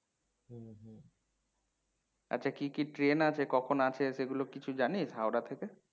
আচ্ছা কি কি ট্রেন আছে, কখন আছে সেগুলো কিছু জানিস হাওড়া থেকে?